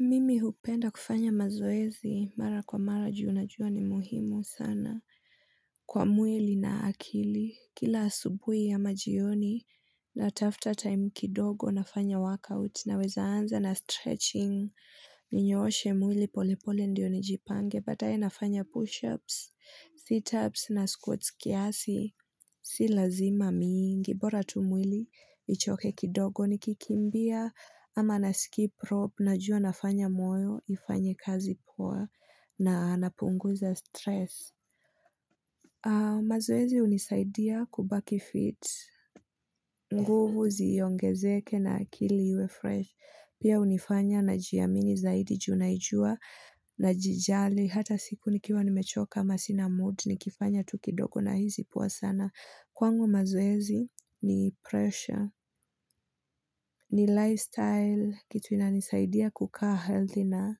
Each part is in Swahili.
Mimi hupenda kufanya mazoezi mara kwa mara juu na juu ni muhimu sana. Kwa mwili na akili, kila asubui ya majioni na tafta time kidogo nafanya work out na weza anza na stretching. Ninyooshe mwili pole pole ndio ni jipange, bataye nafanya push ups, sit ups na squats kiasi. Si lazima mingi, bora tumwili, ichoke kidogo ni kikimbia, ama na skip rope, na jua nafanya moyo, ifanye kazi poa, na napunguza stress. Maoezi unisaidia kubaki fit, nguvu ziongezeke na akili uwe fresh, pia unifanya na jiamini zaidi juu naijua, na jijali hata siku nikiwa nimechoka masina mood, nikifanya tukidogo na hizi poa sana. Kwangu mazoezi ni pressure, ni lifestyle, kitu ina nisaidia kukaa healthy na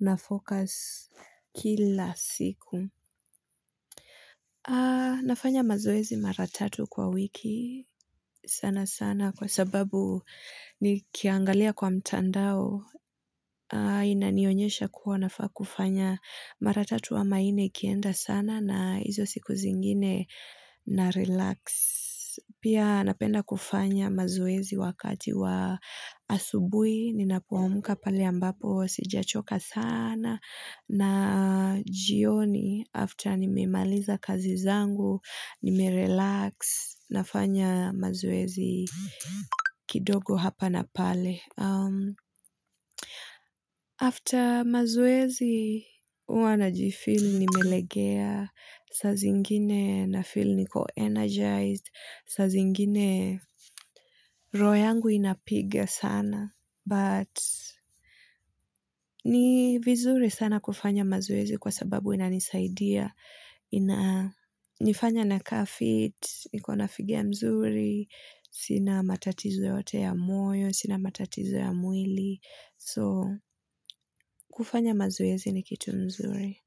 nafocus kila siku. Nafanya mazoezi mara tatu kwa wiki sana sana kwa sababu ni kiangalia kwa mtandao inanionyesha kuwa nafaa kufanya mara tatu wa maini kienda sana na hizo siku zingine na relax. Pia napenda kufanya mazuezi wakati wa asubui, ninapuamuka pali ambapo, sijachoka sana, na jioni after nimimaliza kazi zangu, nimerelax, nafanya mazuezi kidogo hapa na pale. After mazoezi, wana jifili nimelegea, sazingine na filu niko energized, sazingine roho yangu inapiga sana, but ni vizuri sana kufanya mazoezi kwa sababu ina nisaidia. Nifanya na carfit niko na figia mzuri sina matatizwe wote ya moyo sina matatizwe ya muili so kufanya mazoezi ni kitu mzuri.